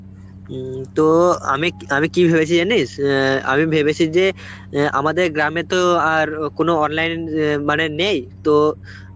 উম তো আমি ক~ আমি কি ভেবেছি জানিস? অ্যাঁ আমি ভেবেছি যে অ্যাঁ আমাদের গ্রামে তো আর কোন online ইয়ে মানে নেই, তো